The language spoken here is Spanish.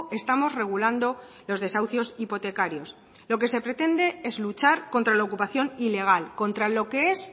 estamos regulando los desahucios hipotecarios lo que se pretende es luchar contra la ocupación ilegal contra lo que es